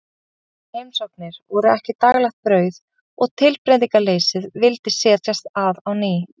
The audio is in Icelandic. En svo hressandi heimsóknir voru ekki daglegt brauð og tilbreytingarleysið vildi setjast að á ný.